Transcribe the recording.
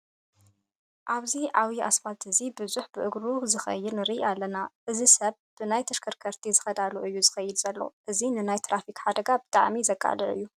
ኣብዚ ዓብይ እስፓልቲ እዚ ቡዙሕ ብእግሩ ዝከድ ንርኢ ኣለና። እዚ ሰብ ብናይ ተሽከርከርቲ ዝከዳሉ እዩ ዝከድ ዘሎ። እዚ ንናይ ትራፊክ ሓደጋ ብጣዕሚ ዘቃልዕ እዩ።